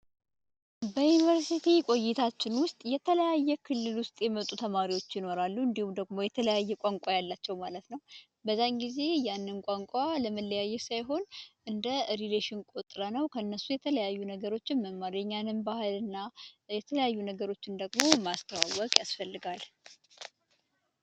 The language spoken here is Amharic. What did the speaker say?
በዩኒቨርስቲ ቆይታችን ውስጥ ከተለያዩ ክልል የመጡ ተማሪዎች ይኖራሉ፤ እንዲሁም ደግሞ የተለያዩ ቋንቋዎች ያሉአቸው ማለት ነው፤ በዛ ጊዜ ያንን ቋንቋ ያለመለያየት ሳይሆን እንደ ሪሌሽን ቆጥረነው ከእነሱ የተለያዩ ነገሮችን መማር የእኛንም ባህል እና የተለያዩ ነገሮች ደግሞ ማስተዋወቅ ያስፈልጋል።